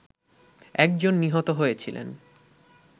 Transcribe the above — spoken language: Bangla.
একজন নিহত হয়েছিলেন